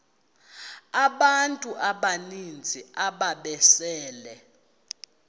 abantu abaninzi ababesele